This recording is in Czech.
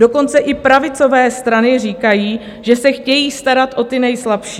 Dokonce i pravicové strany říkají, že se chtějí starat o ty nejslabší.